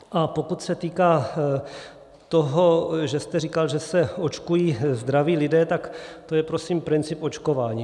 A pokud se týká toho, že jste říkal, že se očkují zdraví lidé, tak to je prosím princip očkování.